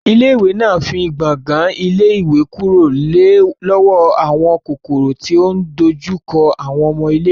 Ilé ìwé náà fín gbàngan ilé ìwé kúrò lọ́wọ́ àwọn kòkòrò tí ò ń dojú kọ àwọn ọmọ iléèwé